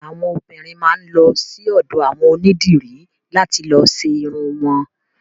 Àwọn obiìnrin máa lọ sí ọ̀dọ̀ àwọn onídìrí làti lọ ṣe irun wọn.